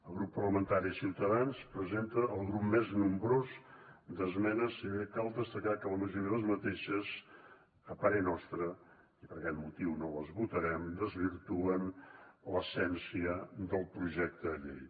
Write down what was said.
el grup parlamentari de ciutadans presenta el grup més nombrós d’esmenes i cal destacar que la majoria d’aquestes a parer nostre i per aquest motiu no les votarem desvirtuen l’essència del projecte de llei